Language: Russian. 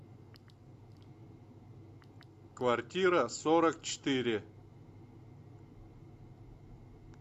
квартира сорок четыре